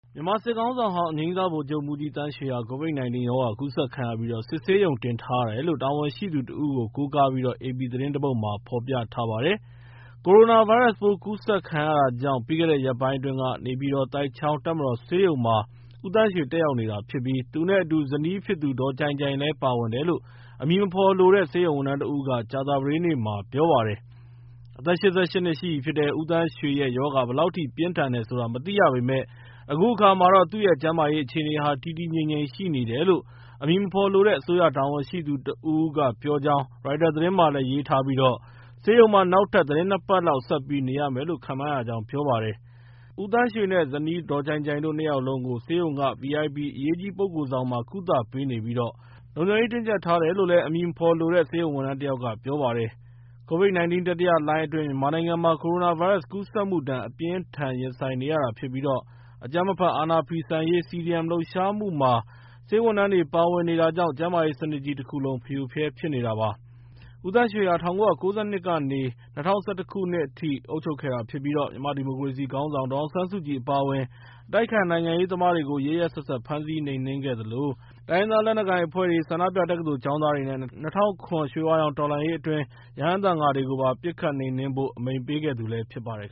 မြန်မာစစ်ခေါင်းဆောင်ဟောင်း အငြိမ်းစားဗိုလ်ချုပ်မှူးကြီးသန်းရွှေဟာ COVID-19 ရောဂါကူးစက်ခံရပြီး စစ်ဆေးရုံတင်ထားရတယ်လို့ တာဝန်ရှိသူတဦးကို ကိုးကားပြီး AP သတင်းတပုဒ်မှာ ဖော်ပြထားပါတယ်။ ကိုရိုနာဗိုင်းရပ်စ်ပိုး ကူးစက်ခံခဲ့ရတာကြောင့် ပြီးခဲ့တဲ့ ရက်ပိုင်းအတွင်းက နေပြည်တော်၊ သိုက်ချောင်းတပ်မတော်ဆေးရုံမှာ ဦးသန်းရွှေ တက်ရောက်နေရတာဖြစ်ပြီး သူနဲ့အတူ ဇနီးဖြစ်သူ ဒေါ်ကြိုင်ကြိုင်လည်း ပါဝင်တယ်လို့ အမည်မဖော်လိုတဲ့ ဆေးရုံဝန်ထမ်းတဦးက ကြာသပတေးနေ့မှာ ပြောပါတယ်။ အသက် ၈၈ နှစ် ရှိပြီဖြစ်တဲ့ ဦးသန်းရွှေရဲ့ရောဂါ ဘယ်လောက်အထိ ပြင်းထန်တယ်ဆိုတာမသိရပေမယ့် အခုအခါမှာတော့ သူ့ရဲ့ ကျန်းမာရေးအခြေအနေဟာ တည်တည်ငြိမ်ငြိမ်ရှိနေတယ်လို့ အမည်မဖော်လိုတဲ့ အစိုးရတာဝန်ရှိသူတဦးက ပြောကြောင်း ရိုက်တာသတင်းမှာလည်း ရေးထားပြီး ဆေးရုံမှာ နောက်ထပ် သီတင်းပတ် နှစ်ပတ်လောက် ဆက်ပြီးနေရမယ်လို့ ခန့်မှန်းရကြောင်း ပြောပါတယ်။ ဦးသန်းရွှေနဲ့ ဇနီးဒေါ်ကြိုင်ကြိုင်တို့ နှစ်ယောက်လုံးကို ဆေးရုံက VIP အရေးကြီးပုဂ္ဂိုလ်ဆောင်မှာ ကုသပေးနေပြီး လုံခြုံရေး တင်းကြပ်ထားတယ်လို့လည်း အမည်မဖော်လိုတဲ့ ဆေးရုံဝန်ထမ်းတယောက်က ပြောပါတယ်။ COVID-19 တတိယလှိုင်းအတွင်း မြန်မာနိုင်ငံမှာ ကိုရိုနာဗိုင်းရပ်စ်ကူးစက်မှုဒဏ် အပြင်းအထန် ရင်ဆိုင်နေရတာဖြစ်ပြီး အကြမ်းမဖက်အာဏာဖီဆန်ရေး CDM လှုပ်ရှားမှုမှာ ဆေးဝန်ထမ်းတွေပါ ပါဝင်နေတာကြောင့် ကျန်းမာရေးစနစ်ကြီးတခုလုံး ဖရိုဖရဲဖြစ်နေတာပါ။ ဦးသန်းရွှဟော ၁၉၉၂ ခုနှစ်ကနေ ၂၀၁၁ ခုနှစ်ထိ အုပ်ချုပ်ခဲ့တာဖြစ်ပြီး မြန်မာ့ဒီမိုကရေစီခေါင်းဆောင် ဒေါ်အောင်ဆန်းစုကြည်အပါအဝင် အတိုက်အခံနိုင်ငံရေးသမားတွေကို ရက်ရက်စက်စက် ဖမ်းဆီးနှိမ်နှင်းခဲ့သလို တိုင်းရင်းသားလက်နက်ကိုင်တပ်ဖွဲ့တွေ၊ ဆန္ဒပြ တက္ကသိုလ်ကျောင်းသားတွေနဲ့ ၂၀၀၇ ခုနှစ် ရွှေဝါရောင်တော်လှန်ရေးအတွင်း ရဟန်းသံဃာတွေကိုပါ ပစ်ခတ် နှိမ်နှင်းဖို့ အမိန့်ပေးခဲ့သူလည်းဖြစ်ပါတယ်